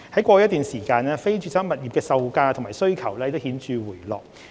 過去一段時間，非住宅物業的售價及需求已顯著回落。